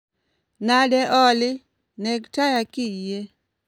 Nade Olly? Neg taya kiyie